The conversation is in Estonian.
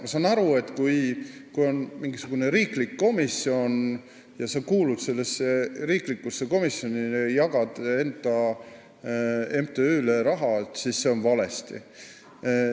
Ma saan aru, et kui on mingisugune riiklik komisjon, kuhu sa kuulud, ja sa jagad enda MTÜ-le raha, siis see on vale.